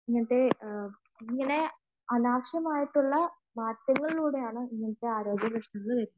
ഇങ്ങനെയുള്ള അനാവശ്യമായ മാറ്റങ്ങളിലൂടെയാണ് ഇങ്ങനത്തെ ആരോഗ്യപ്രശ്നങ്ങൾ വരുന്നത്